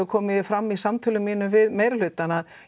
kom fram í samtölum mínum við meirihlutann að